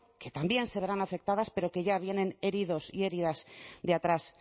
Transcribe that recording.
que también se verán afectadas pero que ya vienen heridos y heridas de atrás